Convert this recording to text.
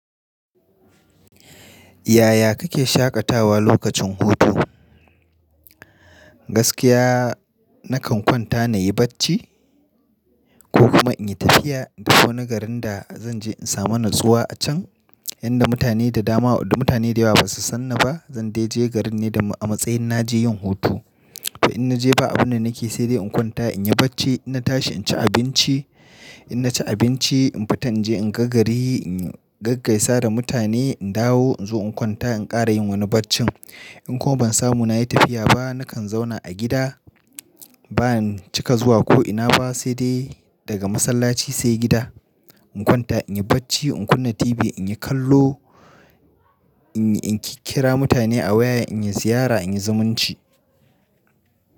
Yaya kake shaƙatawa lokacin hutu? Gaskiya nakan kwanta na yi bacci, ko kuma in yi tafiya da wani garin da zan je in samu natsuwa a can. Inda mutane da dama da mutane da yawa basu sanni ba. Zan dai je garin ne a matsayin na je yin hutu. To in na je ba abun da nake sai dai in kwanta in yi bacci. In na tashi in ci abinci, in na ci abinci in fita in je in ga gari, in gaggaisa da mutane, in dawo in zo in kwanta in ƙara yin wani baccin. In kuma ban samu na yi tafiya ba, nakan zauna a gida ba in cika zuwa ko ina ba sai dai daga masallaci sai gida. In kwanta in yi bacci, in kunna TV, in yi kallo, in kira mutane a waya, in yi ziyara, in yi zumunci.